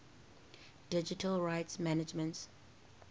digital rights management